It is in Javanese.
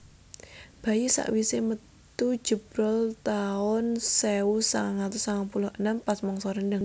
Bayi sak wise metu jebrol taun sewu sangang atus sangang puluh enem pas mangsa rendheng